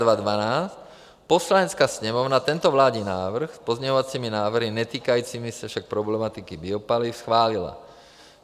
Poslanecká sněmovna tento vládní návrh, s pozměňovacími návrhy netýkajícími se však problematiky biopaliv, schválila.